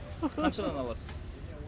қаншадан аласыз